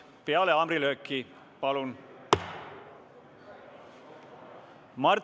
Peale haamrilööki, palun!